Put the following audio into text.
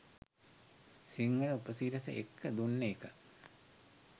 සිංහල උපසිරස එක්ක දුන්න එක